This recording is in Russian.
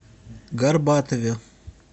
горбатове